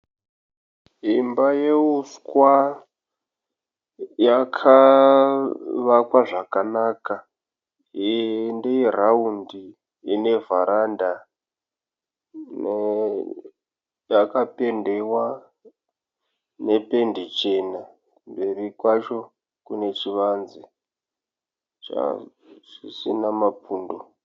Imba yehuswa yakavakwa zvakanaka ndeye raundi ine vharanda yakapendiwa nependi chena kumberi kwacho kune chivanze chisina mapundo.